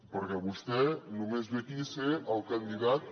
perquè vostè només ve aquí a ser el candidat